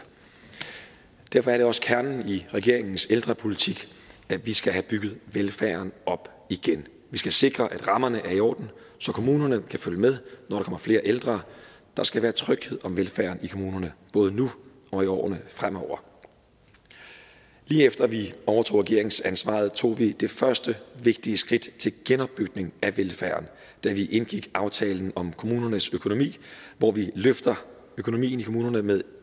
derfor er det også kernen i regeringens ældrepolitik at vi skal have bygget velfærden op igen vi skal sikre at rammerne er i orden så kommunerne kan følge med når der kommer flere ældre der skal være tryghed om velfærden i kommunerne både nu og i årene fremover lige efter at vi overtog regeringsansvaret tog vi det første vigtige skridt til genopbygning af velfærden da vi indgik aftalen om kommunernes økonomi hvor vi løftede økonomien i kommunerne med